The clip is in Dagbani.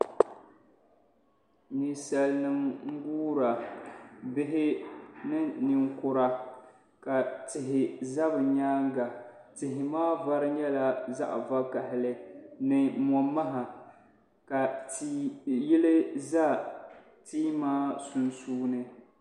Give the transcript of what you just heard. Ninsalinima n-guura bihi ni ninkura ka tihi za bɛ nyaaŋa tihi maa vari nyɛla zaɣ'vakahili ni mɔ'maha ka yili za tia maa sunsuuni.